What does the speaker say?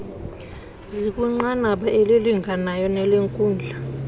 zikwinqanaba elilinganayo nelenkundla